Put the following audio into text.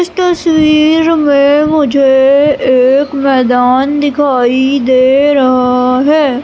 इस तस्वीर में मुझे एक मैदान दिखाई दे रहा है।